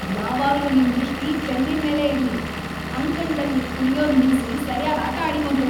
ಯಾವಾಗ್ಲೂ ನಿಮ್ ದೃಷ್ಟಿ ಚೆಂಡಿನ್ಮೇಲೇ ಇರ್ಲಿ! ಅಂಕಣ್ದಲ್ಲಿ ಕುಣ್ಯೋದ್‌ ನಿಲ್ಸಿ ಸರ್ಯಾಗ್‌ ಆಟ ಆಡಿ ಮೊದ್ಲು.